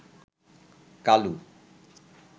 Kalu